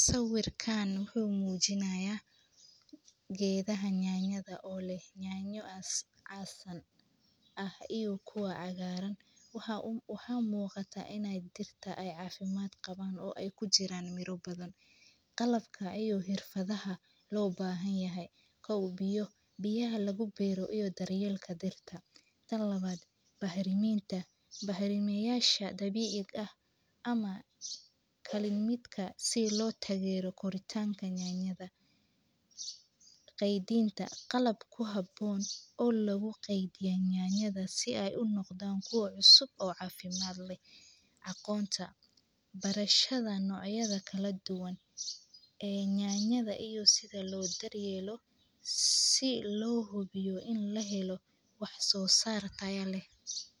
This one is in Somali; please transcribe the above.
Sawirkan wuxuu muujinayaa geedo yaanyo ah oo leh yaanyo casaan ah iyo mid cagaaran. Waxa muuqata in dhirtu caafimaad badan qabto oo ay ku jiraan miro badan. Waxaa kale oo muuqda biyo, daryeelka dhirta, iyo bacriminta dabiiciga ah si loo daryeelo koritaanka yaanyada. Waxa kale oo muuqda qalab ku habboon kaydinta yaanyada – kuwa cusub ee caafimaad leh. Waxaa muhiim ah in la barto noocyada kala duwan ee yaanyada iyo sida loo daryeelo si loo hubiyo wax-soo-saar tayo leh.